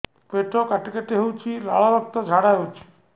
ପେଟ କାଟି କାଟି ହେଉଛି ଲାଳ ରକ୍ତ ଝାଡା ହେଉଛି